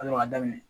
A sɔrɔ ka daminɛ